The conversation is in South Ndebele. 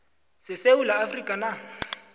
sesewula afrika na